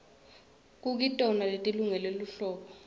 kukitona leti lungele lihlobo